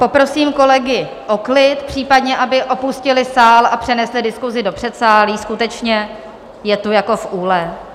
Poprosím kolegy o klid, případně aby opustili sál a přenesli diskusi do předsálí, skutečně je tu jako v úle.